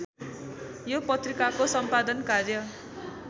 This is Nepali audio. यो पत्रिकाको सम्पादन कार्य